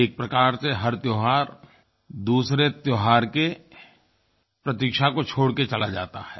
एक प्रकार से हर त्योहार दूसरे त्योहार की प्रतीक्षा को छोड़कर चला जाता है